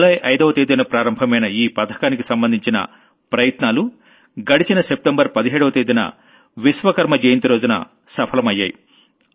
July 5వ తేదీన ప్రారంభమైన ఈ పథకానికి సంబంధించిన ప్రయత్నాలుగడచిన సెప్టెంబర్ 17వ తేదీన విశ్వకర్మ జయంతి రోజున సఫలమయ్యాయి